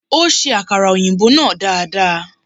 Ó ṣe akara òyìnbó náà dada.